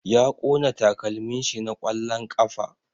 Ya ƙona takalmin shi na ƙwallon ƙafa